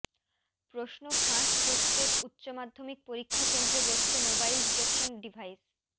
প্রশ্ন ফাঁস রুখতে উচ্চমাধ্যমিক পরীক্ষা কেন্দ্রে বসছে মোবাইল ডিটেকশন ডিভাইস